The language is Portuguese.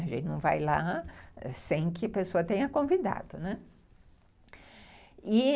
A gente não vai lá sem que a pessoa tenha convidado, né.